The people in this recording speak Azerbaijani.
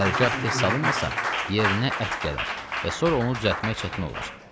Hərgah tez salınmasa, yerinə ət gələr və sonra onu düzəltmək çətin olar.